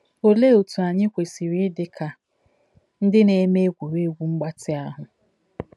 Olee otu anyị kwesịrị ịdị ka ndị na-eme egwuregwu mgbatị ahụ?